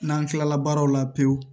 N'an kilala baaraw la pewu